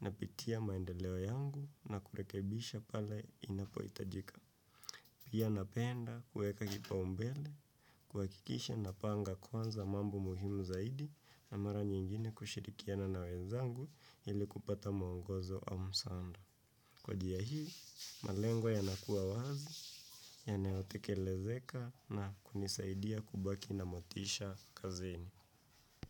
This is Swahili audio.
napitia maendeleo yangu na kurekebisha pale inapohitajika. Pia napenda kuweka kipaumbele kuhakikisha napanga kwanza mambo muhimu zaidi na mara nyingine kushirikiana na wezangu ili kupata mwongozo au msaada. Kwa njia hii, malengo yanakua wazi, yanotekelezeka na kunisaidia kubaki na motisha kazini.